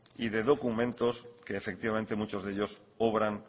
y de documentos que efectivamente muchos de ellos obran